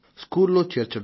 స్కూలులో చేర్చడం